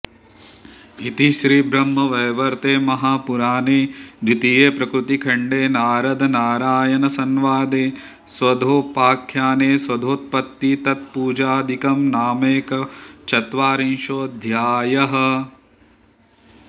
इति श्रीब्रह्मवैवर्त्ते महापुराणे द्वितीये प्रकृतिखण्डे नारदनारायणसण्वादे स्वधोपाख्याने स्वधोत्पत्ति तत्पूजादिकं नामैकचत्वारिंशोऽध्यायः